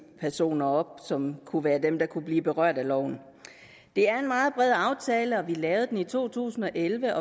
personer som kunne være dem der kunne blive berørt af loven det er en meget bred aftale og vi lavede den i to tusind og elleve